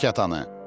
Çıxart kətanı.